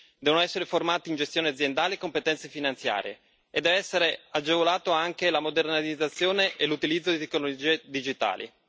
Devono essere formati in gestione aziendale e competenze finanziare, e devono essere agevolati anche la modernizzazione e l'utilizzo di tecnologie digitali.